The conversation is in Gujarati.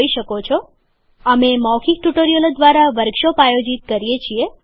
મૌખિક ટ્યુટોરિયલોનું જૂથ મૌખિક ટ્યુટોરિયલોની મદદથી વર્કશોપ આયોજિત કરે છે